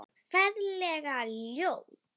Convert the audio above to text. Ferlega ljót.